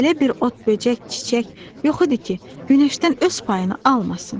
Elə bir ot, böcək, çiçək yox idi ki, günəşdən öz payını almasın.